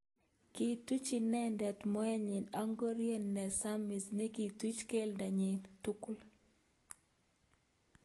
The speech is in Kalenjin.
Kituch inendet mot nyi ak ngoriet nesamis nekituch keldo nyi tugul.